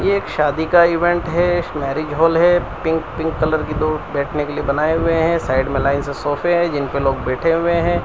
ये एक शादी का इवेंट है इस मैरिज हॉल है पिंक पिंक कलर की दो बैठने के लिए बनाए हुए हैं साइड में लाइन से सोफे हैं जिन पे लोग बैठे हुए हैं।